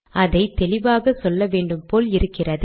அதை தெளிவாக சொல்ல வேண்டும் போல் இருக்கிறது